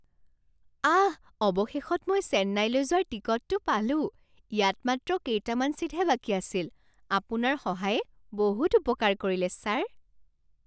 আহ! অৱশেষত মই চেন্নাইলৈ যোৱাৰ টিকটটো পালোঁ। ইয়াত মাত্ৰ কেইটামান ছিটহে বাকী আছিল। আপোনাৰ সহায়ে বহুত উপকাৰ কৰিলে ছাৰ!